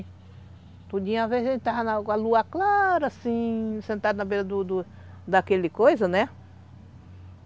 assim, sentado na beira do do daquele coisa, né?